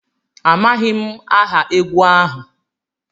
Amaghị m aha egwu ahụ